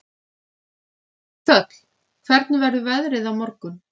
Þöll, hvernig verður veðrið á morgun?